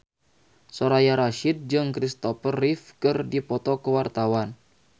Soraya Rasyid jeung Kristopher Reeve keur dipoto ku wartawan